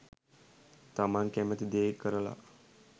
තමන් කැමති දේ කරලා